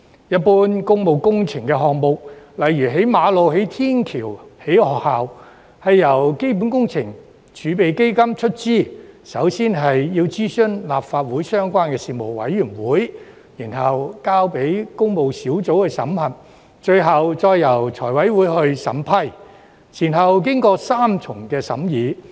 一般工務工程項目，例如興建馬路、天橋或學校，是由基本工程儲備基金出資，並首先要諮詢立法會相關事務委員會，然後交由工務小組委員會審核，最後再由財委會審批，前後經過三重審議。